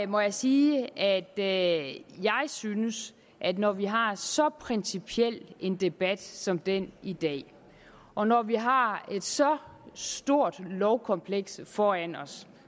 må jeg sige at jeg synes at når vi har så principiel en debat som den i dag og når vi har så stort et lovkompleks foran os